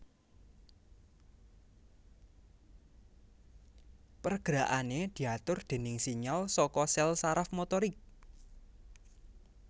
Pergerakané diatur déning sinyal saka sèl saraf motorik